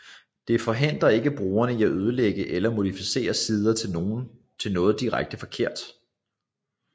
Det forhindrer ikke brugerne i at ødelægge eller modificere sider til noget direkte forkert